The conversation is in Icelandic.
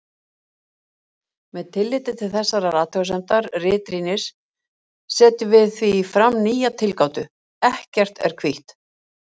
Með tilliti til þessarar athugasemdar ritrýnis setjum við því fram nýja tilgátu: ekkert er hvítt.